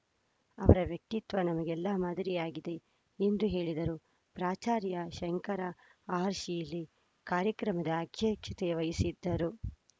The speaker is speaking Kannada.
ಅವರ ವ್ಯಕ್ತಿತ್ವ ನಮಗೆಲ್ಲಾ ಮಾದರಿಯಾಗಿದೆ ಎಂದು ಹೇಳಿದರು ಪ್ರಾಚಾರ್ಯ ಶಂಕರ ಆರ್‌ಶೀಲಿ ಕಾರ್ಯಕ್ರಮದ ಅಧ್ಯಕ್ಷತೆ ವಹಿಸಿದ್ದರು